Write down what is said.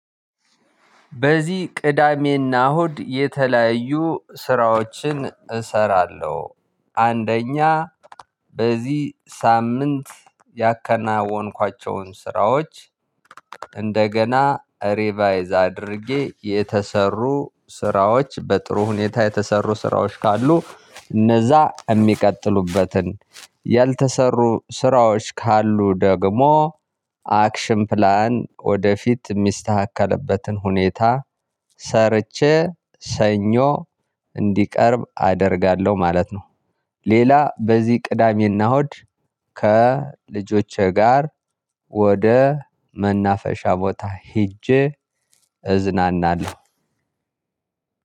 በዚህ ቅዳሜና እሁድ የተለያዩ ስራዎችን እሰራለሁ። አንደኛ በዚህ ሳምንት ያከናወንኳቸውን ስራዎች እንደገና ሬቫይዝ አድርጌ የተሰሩ ስራዎች በጥሩ ሁኔታ የተሰሩ ስራዎች ካሉ እነዚያ የሚቀጥሉበትን ያልተሰሩ ስራዎች ካሉ ደግሞ አክሽን ፕላን ወደፊት የሚስተካከልበትን ሁኔታ ሰርቼ ሰኞ እንዲቀርብ አደርጋለሁ ማለት ነው። ሌላ በዚህ ቅዳሜና ሆድ ከልጆቼ ጋር ወደ መናፈሻ ቦታ ሄጄ እዝናናለሁ።